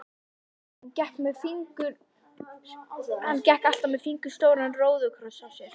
Og hann gekk alltaf með fingur stóran róðukross á sér.